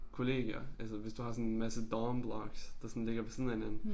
Kollegier altså hvis du har sådan en masse dorm blocks der sådan ligger ved siden af hinanden